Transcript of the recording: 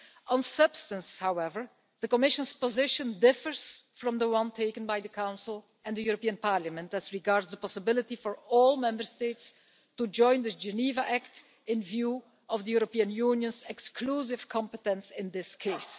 On the substance, however, the Commission's position differs from the one taken by the Council and the European Parliament as regards the possibility for all Member States to join the Geneva Act in view of the European Union's exclusive competence in this case.